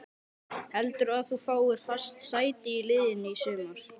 Heldurðu að þú fáir fast sæti í liðinu í sumar?